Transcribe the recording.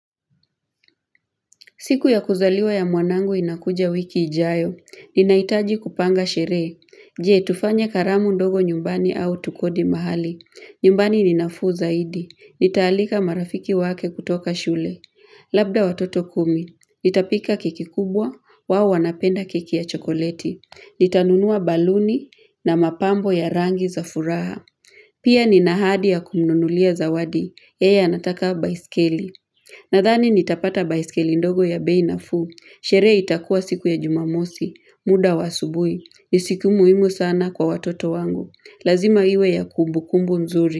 Siku ya kuzaliwa ya mwanangu inakuja wiki ijayo, ninahitaji kupanga sherehe, je tufanya karamu ndogo nyumbani au tukodi mahali, nyumbani ni nafuu zaidi, nitaalika marafiki wake kutoka shule, labda watoto kumi, nitapika keki kubwa, wao wanapenda keki ya chokoleti, nitanunua baluni na mapambo ya rangi za furaha. Pia nina hadi ya kumnunulia zawadi, yeye anataka baiskeli Nadhani nitapata baiskeli ndogo ya bei nafuu, sherehe itakuwa siku ya Jumamosi, muda wa hasubui, ni siku muhimu sana kwa watoto wangu lazima iwe ya kumbukumbu nzuri.